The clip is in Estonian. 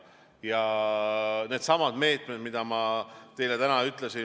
Aga on needsamad meetmed, mida ma teile täna ütlesin.